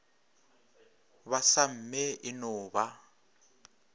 ba samme e no ba